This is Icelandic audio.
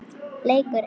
Leikur einn.